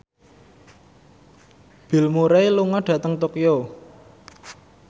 Bill Murray lunga dhateng Tokyo